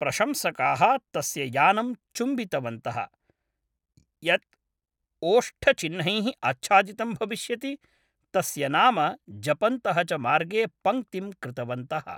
प्रशंसकाः तस्य यानं चुम्बितवन्तः, यत् ओष्ठचिह्नैः आच्छादितं भविष्यति, तस्य नाम जपन्तः च मार्गे पङ्क्तिं कृतवन्तः ।